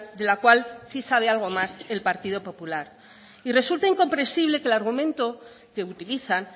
de la cual sí sabe algo más el partido popular y resulta incomprensible que el argumento que utilizan